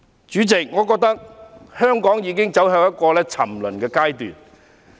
主席，我覺得香港已走向一個沉淪的方向。